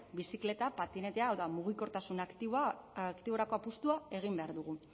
bizikleta patinetea hau da mugikortasun aktiborako apustua egin behar dugu